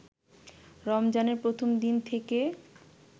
রমজানের প্রথম দিন থেকে